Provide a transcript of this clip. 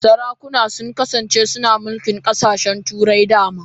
Sarakuna sun kasance suna mulkin kasashen Turai da dama.